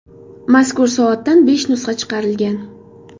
Mazkur soatdan besh nusxa chiqarilgan.